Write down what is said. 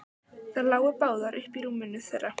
Þær lágu báðar uppí rúminu þeirra.